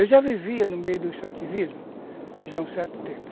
Eu já vivia no meio do extrativismo já há um certo tempo.